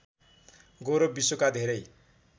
गौरव विश्वका धेरै